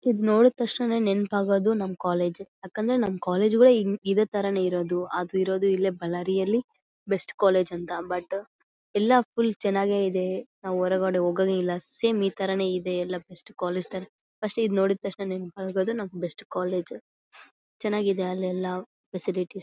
ಇದು ನೋಡಿತಕ್ಷಣ ನೆನೆಪಾಗೋದು ನಮ್ಮ ಕಾಲೇಜ್ ಯಾಕಂದ್ರೆ ನಮ್ಮ ಕಾಲೇಜ್ ಗಳೇ ಹಿಂಗ್ ಇದೆ ತರನೇ ಇರೋದು ಅದು ಇರೋದು ಇಲ್ಲಿ ಬಳ್ಳಾರಿಯಲ್ಲಿ ಬೆಸ್ಟ್ ಕಾಲೇಜ್ ಅಂತ ಬಟ್ ಎಲ್ಲಾ ಫುಲ್ ಚನ್ನಗಿದೆ ನಾವು ಹೊರಗಡೆ ಹೋಗೋದೇ ಇಲ್ಲಾ ಸೇಮ್ ಈ ತರನೇ ಇದೆ ಎಲ್ಲಾ ಬೆಸ್ಟ್ ಕಾಲೇಜ್ ತರ ಫಸ್ಟ್ ಇದು ನೋಡಿ ತಕ್ಷಣ ನೆನಪಾಗೋದು ನಮ್ಮ ಬೆಸ್ಟ್ ಕಾಲೇಜ್ ಚನ್ನಾಗಿದೆ ಅಲ್ಲೆಲ್ಲಾ ಫೆಸಿಲಿಟೀಸ್ .